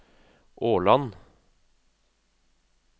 Årland